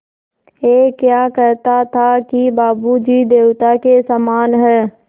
ऐं क्या कहता था कि बाबू जी देवता के समान हैं